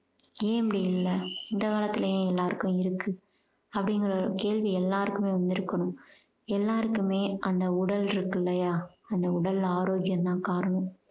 ஏன் இப்படி இல்ல இந்த காலத்துல ஏன் எல்லாருக்கும் இருக்கு அப்படிங்குற ஒரு கேள்வி எல்லாருக்குமே வந்துருக்கணும் எல்லாருக்குமே அந்த உடல் இருக்கு இல்லையா அந்த உடல் ஆரோக்கியம் தான் காரணம்